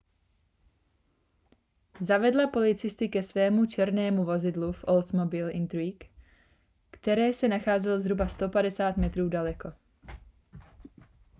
zavedla policisty ke svému černému vozidlu oldsmobile intrigue které se nacházelo zhruba 150 metrů daleko